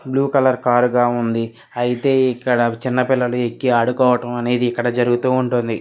Blue colour car గా ఉంది. అయితే ఇక్కడ చిన్నపిల్లలు ఎక్కి ఆడుకోవడం అనేది ఇక్కడ జరుగుతూ ఉంటుంది.